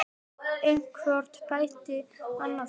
En hvort bætti annað upp.